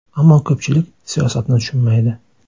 Ammo ko‘pchilik siyosatni tushunmaydi”.